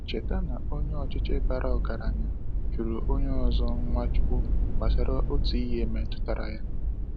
Cheta na onye ọchịchị bara ọgaranya jụrụ onye ọzọ Nwachukwu gbasara otu ihe metụtara ya.